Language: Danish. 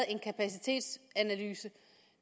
en kapacitetsanalyse